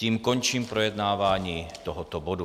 Tím končím projednávání tohoto bodu.